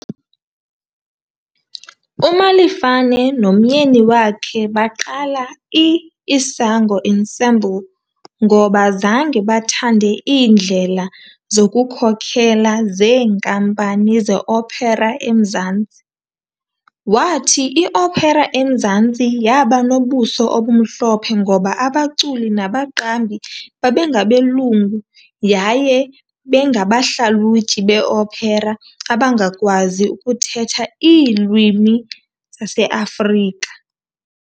UMalefane nomyeni wakhe baqala i-Isango Ensemble ngoba zange bathande iindlela zokukhokhela zeenkampani ze-opera eMzantsi. Wathi i-opera eMzantsi yaba nobuso obumhlophe ngoba abaculi nabaqambi babengabelungu yaye bangabahlalutyi be-opera abangakwazi ukuthetha iilwimi zaseAfrika.